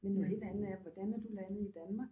Men noget helt andet er hvordan er du landet i Danmark?